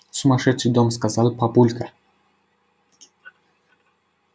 сумасшедший дом сказал папулька